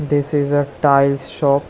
This is a tails shop.